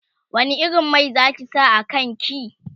wani irin Mai Zaki sa a kanki?